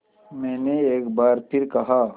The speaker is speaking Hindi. मैंने एक बार फिर कहा